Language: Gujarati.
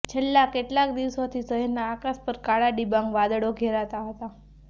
છેલ્લા કેટલાક દિવસોથી શહેરના આકાશ પર કાળા ડિબાંગ વાદળો ઘેરાતા હતા